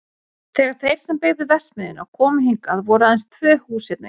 Þegar þeir sem byggðu verksmiðjuna komu hingað voru aðeins tvö hús hérna í þorpinu.